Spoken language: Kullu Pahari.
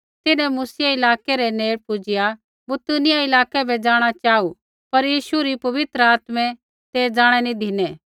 तिन्हैं मूसियै इलाकै रै नेड़ पुजिआ बितूनिया इलाकै बै जाँणा चाहू पर यीशु री पवित्र आत्मै ते ज़ाणै नी धिनै